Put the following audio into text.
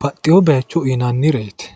baxxino bayiicho uyiinannireeti.